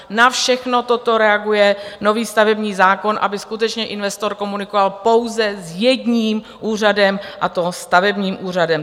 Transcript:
Na všechno toto reaguje nový stavební zákon, aby skutečně investor komunikoval pouze s jedním úřadem, a to stavebním úřadem.